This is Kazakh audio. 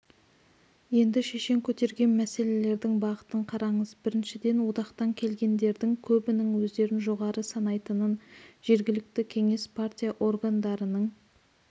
енді шешен көтерген мәселелердің бағытын қараңыз біріншіден одақтан келгендердің көбінің өздерін жоғары санайтынын жергілікті кеңес-партия органдарының